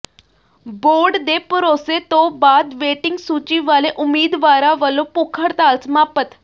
board ਦੇ ਭਰੋਸੇ ਤੋਂ ਬਾਅਦ ਵੇਟਿੰਗ ਸੂਚੀ ਵਾਲੇ ਉਮੀਦਵਾਰਾਂ ਵੱਲੋਂ ਭੁੱਖ ਹੜਤਾਲ ਸਮਾਪਤ